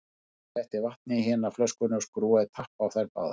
Hann setti vatn í hina flöskuna og skrúfaði tappa á þær báðar.